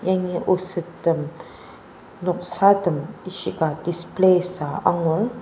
yangi osettem noksatem ishika display süa angur.